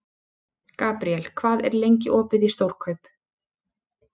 Gabriel, hvað er lengi opið í Stórkaup?